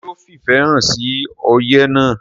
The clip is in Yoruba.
ṣé ó fìfẹ̀ hàn sí oyè náà?